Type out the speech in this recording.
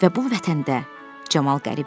Və bu vətəndə Camal qərib idi.